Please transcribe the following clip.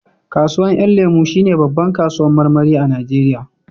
Kasuwan 'yan lemo shi ne babbar kasuwan marmari a najeriya